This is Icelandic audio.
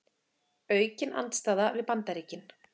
Aukin andstaða við Bandaríkin